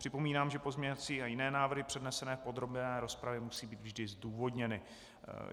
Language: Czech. Připomínám, že pozměňovací a jiné návrhy přednesené v podrobné rozpravě, musí být vždy zdůvodněny.